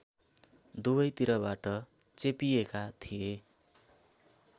दुवैतिरबाट चेपिएका थिए